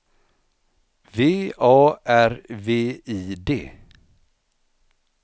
V A R V I D